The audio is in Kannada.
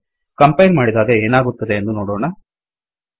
ಕಂಪೈಲ್ ಮಾಡಿದಾಗ ಏನಾಗುತ್ತದೆ ಎಂದು ನೋಡೊಣ